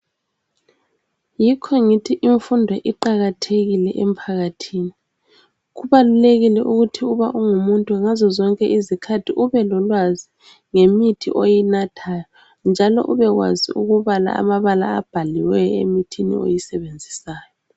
Yikho ngithi imfundo iqakathekile emphakathini. Kubalulekile ukuthi uba ungumuntu, ngazo zonke izikhathi ubelolwazi ngemithi oyinathayo, njalo ubekwazi ukubala amabala abhaliweyo emithini oyisebenzisayo.